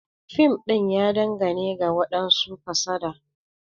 Fim din ya dangane ga wadansu kasada.